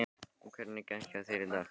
Og hvernig gekk hjá þér í dag?